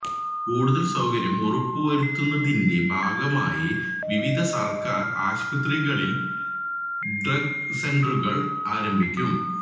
കൂടുതല് സൌകര്യം ഉറപ്പുവരുത്തുന്നതിന്റെ ഭാഗമായി വിവിധ സര്ക്കാര് ആശുപത്രികളില് ഡ്രഗ് സെന്ററുകള് ആരംഭിക്കും